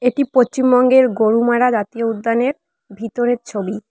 এটি পচ্চিমবঙ্গের গরুমারা জাতীয় উদ্যানের ভিতরের ছবি।